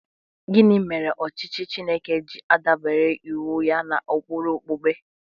Gịnị mere ọchịchị Chineke ji adabere iwu ya n’ụkpụrụ okpukpe?